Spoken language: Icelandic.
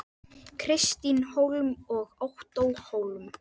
Kristín Hólm og Ottó Hólm.